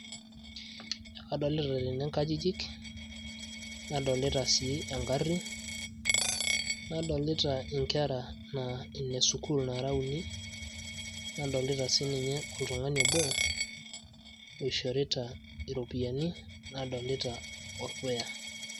Adolita tene inkajijik, nadolita sii egarri. Nadolita inkera naa ine sukuul nara uni. Nadolita sininye oltung'ani obo, oishorita iropiyiani, nadolita orpuya.